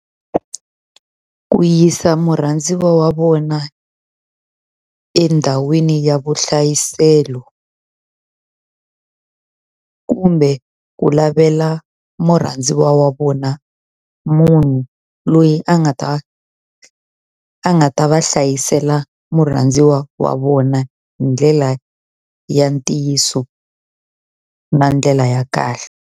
Ku yisa murhandziwa wa vona endhawini ya vuhlayiselo kumbe ku lavela murhandziwa wa vona munhu loyi a nga ta a nga ta va hlayisela murhandziwa wa vona hi ndlela ya ntiyiso na ndlela ya kahle.